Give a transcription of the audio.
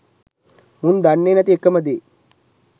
මුන් දන්නේ නැති එකම දේ